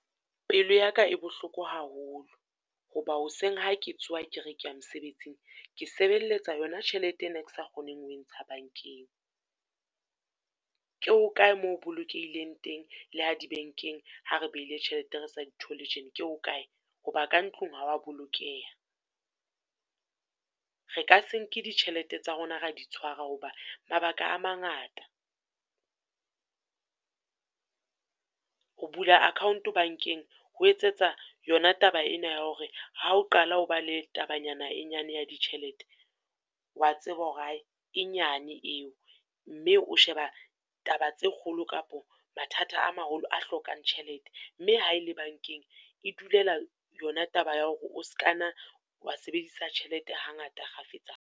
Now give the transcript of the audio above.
Pelo ya ka e bohloko haholo, ho ba hoseng ha ke tsoha ke re ke ya mosebetsing, ke sebelletsa yo na tjhelete ena e ke sa kgoneng ho e ntsha bank-eng. Ke ho kae mo bolokehileng teng le ha di bank-eng, ha re behile ditjhelete re sa di thole tje, ke ho kae? Ho ba ka ntlong ha o wa bolokeha. Re ka se nke ditjhelete tsa rona ra di tshwara ho ba mabaka a mangata. Ho bula account bank-eng ho etsetsa yona taba ena ya hore ha o qala ho ba le tabanyana e nyane ya ditjhelete, o wa tseba hore e nyane eo, mme o sheba taba tse kgolo kapo mathata a maholo a hlokang tjhelete mme ha ele bank-eng, e dulela yona taba ya hore o ska nna wa sebedisa tjhelete ha ngata kgafetsa.